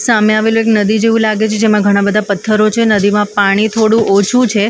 સામે આવેલું એક નદી જેવું લાગે છે જેમાં ઘણા બધા પથ્થરો છે. નદીમાં પાણી થોડું ઓછું છે--